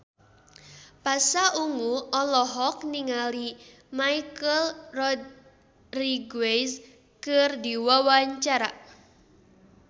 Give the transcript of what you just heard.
Pasha Ungu olohok ningali Michelle Rodriguez keur diwawancara